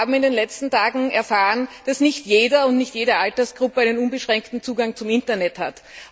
Wir haben in den letzten Tagen erfahren, dass nicht jeder und nicht jede Altersgruppe unbeschränkten Zugang zum Internet hat.